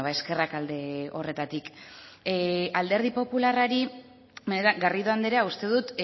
eskerrak alde horretatik alderdi popularrari garrido andrea uste dut